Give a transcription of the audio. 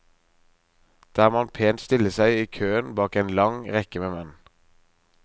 Der må han pent stille seg i køen bak en lang, lang rekke med menn.